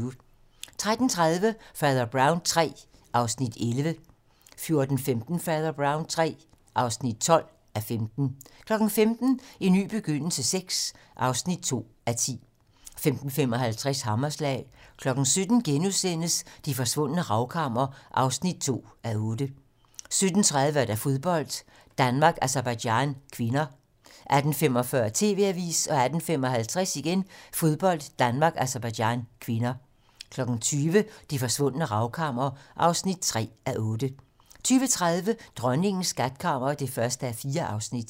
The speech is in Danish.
13:30: Fader Brown III (11:15) 14:15: Fader Brown III (12:15) 15:00: En ny begyndelse VI (2:10) 15:55: Hammerslag 17:00: Det forsvundne ravkammer (2:8)* 17:30: Fodbold: Danmark-Aserbajdsjan (k) 18:45: TV-Avisen 18:55: Fodbold: Danmark-Aserbajdsjan (k) 20:00: Det forsvundne ravkammer (3:8) 20:30: Dronningens skatkammer (1:4)